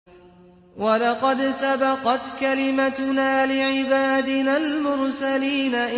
وَلَقَدْ سَبَقَتْ كَلِمَتُنَا لِعِبَادِنَا الْمُرْسَلِينَ